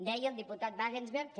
deia el diputat wagensberg que